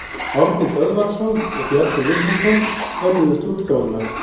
Árni Böðvarsson og Bjarni Vilhjálmsson önnuðust útgáfuna.